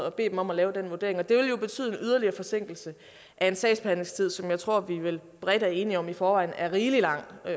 og bede dem om at lave den vurdering det vil jo betyde en yderligere forsinkelse af en sagsbehandlingstid som jeg tror vi vel bredt er enige om i forvejen er rigelig lang og